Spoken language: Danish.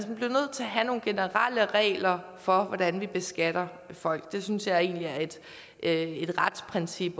have nogle generelle regler for hvordan vi beskatter folk det synes jeg egentlig er et retsprincip